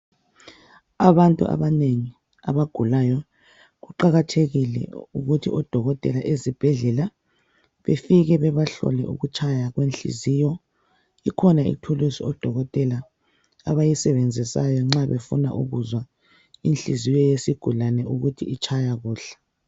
Abantu abanengi abagulayo kuqakathekile ukuthi odokotela ezibhedlela befike bebahlole ukutshaya kwenhliziyo. Ikhona ithulusi odokotela abayisebenzisayo nxa befuna ukuzwa inhliziyo yesigulani ukuthi itshaya kuhle.